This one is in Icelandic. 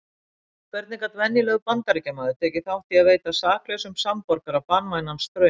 Hvernig gat venjulegur Bandaríkjamaður tekið þátt í að veita saklausum samborgara banvænan straum?